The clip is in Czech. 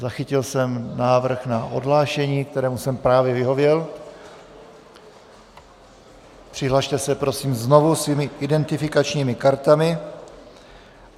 Zachytil jsem návrh na odhlášení, kterému jsem právě vyhověl, přihlaste se prosím znovu svými identifikačními kartami.